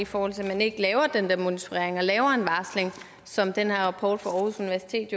fordi man ikke laver den monitorering og laver en varsling som den her rapport fra aarhus universitet